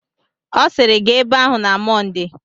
Ọ sịịrị, gaa ebe ahụ na Mọnde.